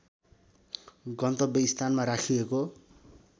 गन्तव्य स्थानमा राखिएको